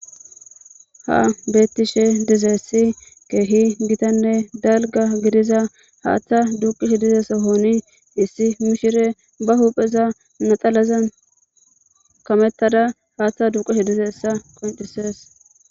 ha bettiishshe dizayssi ke'hi giitanne dalgga giidiza haaththa duuqiishshe diiza soohoni issi miishshiya ba huphpheza naxalazan kamettada haaththa duqashshe dizayssa qoncisees